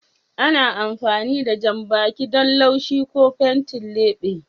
Ana amfani da janɓaki don laushi ko fenti leɓe.